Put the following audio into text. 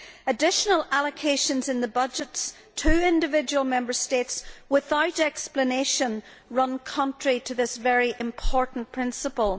Additional allocations in the budgets to individual Member States without explanation run contrary to this very important principle.